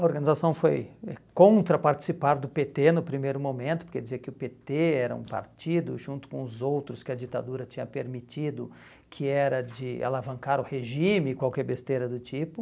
A organização foi contra participar do pê tê no primeiro momento, porque dizia que o pê tê era um partido junto com os outros que a ditadura tinha permitido que era de alavancar o regime e qualquer besteira do tipo.